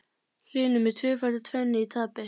Hlynur með tvöfalda tvennu í tapi